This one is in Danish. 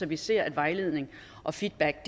vi ser at vejledning og feedback